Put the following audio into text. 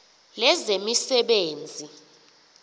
lezemisebenzi